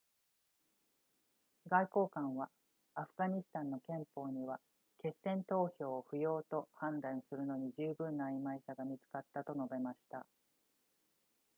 外交官はアフガニスタンの憲法には決戦投票を不要と判断するのに十分な曖昧さが見つかったと述べました